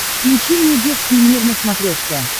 включи мне детский мир на смотрешке